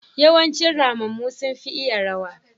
yawanci ramammu sun fi iya rawa.